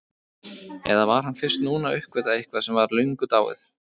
Eða var hann fyrst núna að uppgötva eitthvað sem var löngu dáið?